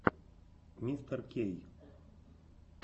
мистеркей